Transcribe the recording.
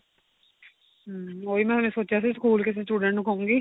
hm ਉਹੀ ਮੈਂ ਹਲੇ ਸੋਚਿਆ ਸੀ school ਕਿਸੇ student ਨੂੰ ਕਹੂੰਗੀ